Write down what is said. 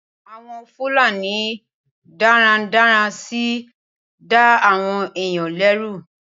Awon Fulani darandaran si n da awon eeyan leru